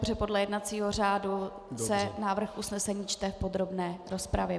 Protože podle jednacího řádu se návrh usnesení čte v podrobné rozpravě.